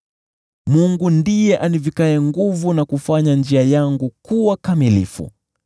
Mungu ndiye anivikaye nguvu na kufanya njia yangu kuwa kamilifu.